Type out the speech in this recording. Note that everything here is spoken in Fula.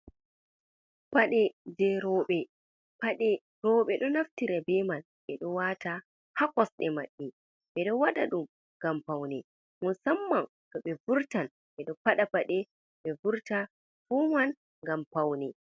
Paɗe je roɓe paɗe roɓe do naftira be man ɓeɗo wata ha kosɗe maɓɓe ɓeɗo waɗa ɗum ngam paune musamman to ɓe vurtan ɓeɗo faɗa paɗe be vurta fuman ngam paune.